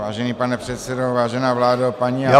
Vážený pane předsedo, vážená vládo, paní a pánové -